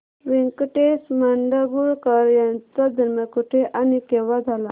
व्यंकटेश माडगूळकर यांचा जन्म कुठे आणि केव्हा झाला